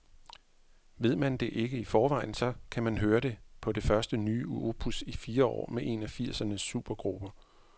Ved man ikke det i forvejen, så kan man høre det på det første nye opus i fire år med en af firsernes supergrupper.